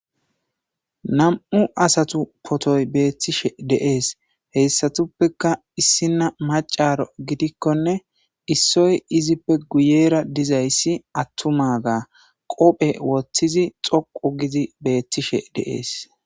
Nam'u asata potoy betishe de'es hesatuppeka issina maca gidikone issoy izzippe guyera dizaysi attumaga qope wothidi dhoqu gidi betishe de'es